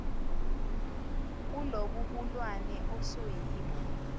kulobu bulwane osuyibo